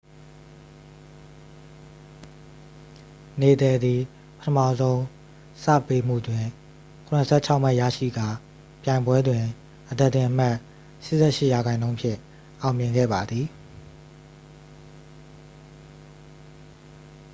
နေဒယ်သည် ပထမဆုံး ဆာ့ဗ်ပေးမှုတွင် 76 မှတ်ရရှိကာ ပြိုင်ပွဲတွင် အသားတင်အမှတ် 88% ဖြင့် အောင်မြင်ခဲ့ပါသည်